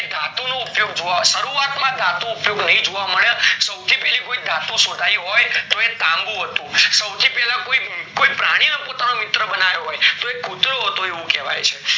ધાતુ નો ઉપયોગ, શરૂવાત માં ધાતુ ઉપયોગ જોવા નાય મળે સૌથી પેલા કોઈ ધાતુ શોધાય હોય એ તાંબુ હતું સૌથી પેલા કોઈ પ્રાણી નો પુટળો બનાવ્યો હોય ઈ કુતરો હતો કેવાય છે.